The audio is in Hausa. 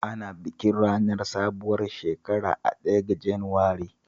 Ana bikin ranar sabuwar shekara a ranar ɗaya ga Janairu